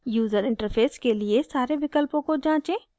user interface के लिए सारे विकल्पों को जाँचें